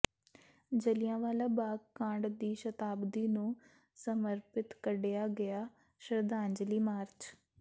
ਜੱਲਿਆਂਵਾਲਾ ਬਾਗ ਕਾਂਡ ਦੀ ਸ਼ਤਾਬਦੀ ਨੂੰ ਸਮਰਪਿਤ ਕੱਢਿਆ ਗਿਆ ਸ਼ਰਧਾਂਜਲੀ ਮਾਰਚ